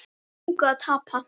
Við höfum engu að tapa.